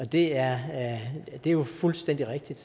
det er jo fuldstændig rigtigt